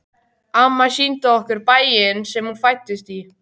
Amma sýndi okkur bæinn sem hún fæddist í.